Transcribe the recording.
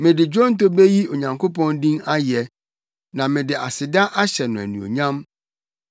Mede dwonto beyi Onyankopɔn din ayɛ na mede aseda ahyɛ no anuonyam.